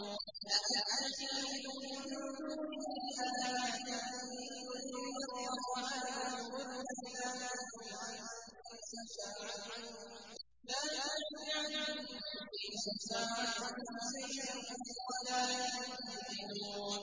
أَأَتَّخِذُ مِن دُونِهِ آلِهَةً إِن يُرِدْنِ الرَّحْمَٰنُ بِضُرٍّ لَّا تُغْنِ عَنِّي شَفَاعَتُهُمْ شَيْئًا وَلَا يُنقِذُونِ